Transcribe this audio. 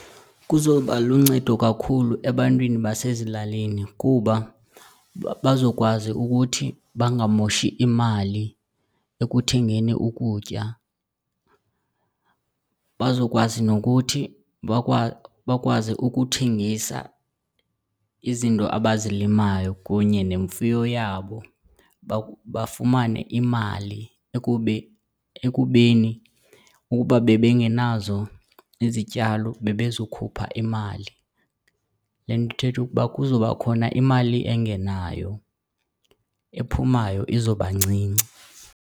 Kuzoba luncedo kakhulu ebantwini basezilalini kuba bazokwazi ukuthi bangamoshi imali ekuthengeni ukutya. Bazokwazi nokuthi bakwazi ukuthengisa izinto abazilimayo kunye nemfuyo yabo, bafumane imali ekubeni ukuba bebengenazo izityalo bebezokhupha imali. Le nto ithetha ukuba kuzoba khona imali engenayo, ephumayo izoba ncinci.